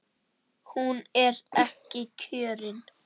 Hún er ekki kjörin.